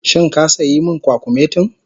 Shin ka sayi min kwakumetin?